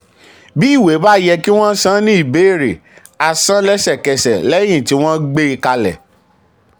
bí ìwé bá yẹ kí wọ́n san ní ìbéèrè a san lẹ́sẹ̀kẹsẹ̀ um lẹ́yìn tí um wọ́n gbé kalẹ̀.